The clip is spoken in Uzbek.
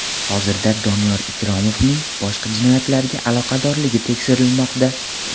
Hozirda Doniyor Ikromovning boshqa jinoyatlarga aloqadorligi tekshirilmoqda.